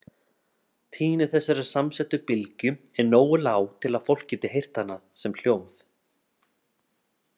Tíðni þessarar samsettu bylgju er nógu lág til að fólk geti heyrt hana sem hljóð.